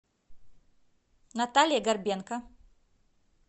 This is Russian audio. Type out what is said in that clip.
наталье горбенко